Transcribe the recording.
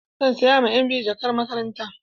Zan saya ma ƴan biyu jakan makaranta.